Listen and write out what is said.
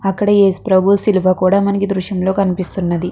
అక్కడ ఏఏసు ప్రభువు శిలువ కూడా మనకి ఈ దృశ్యం లో కనిపిస్తున్నది.